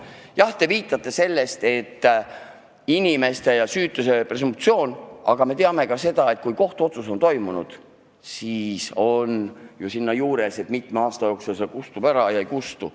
Jah, te viitate sellele, et kehtib süütuse presumptsioon, aga me teame ka seda, et kui kohtuotsus on langetatud, siis on seal kirjas, mitme aasta jooksul süütegu kustub.